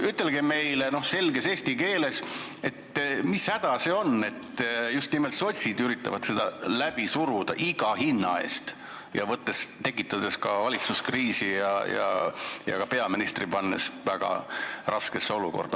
Ütelge meile selges eesti keeles, mis häda siin on, et just nimelt sotsid üritavad seda iga hinna eest läbi suruda, tekitades valitsuskriisi ja pannes ka peaministri väga raskesse olukorda.